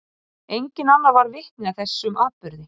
Enginn annar varð vitni að þessum atburði.